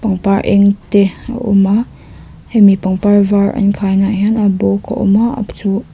pangpar eng te a awma hemi pangpar var an khai na ah hian a bawk a awm a --